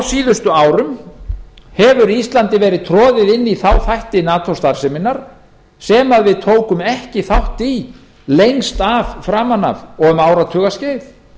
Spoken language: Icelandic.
síðustu árum hefur íslandi verið troðið inn í þá þætti nato starfseminnar sem við tókum ekki þátt í lengst framan af og um áratugaskeið